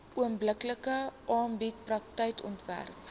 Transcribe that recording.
onbillike arbeidspraktyke onderwerp